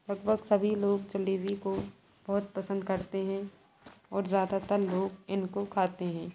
लगभग सभी लोग जलेबी को बहुत पसंद करते हैं और ज्यादातर लोग इनको खाते हैं।